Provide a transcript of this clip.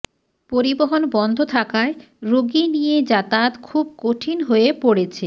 পরিবহন বন্ধ থাকায় রোগী নিয়ে যাতায়াত খুব কঠিন হয়ে পড়েছে